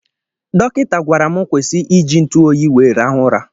Dọkịta gwara m kwụsị iji ntụ oyi wee rahu ụra.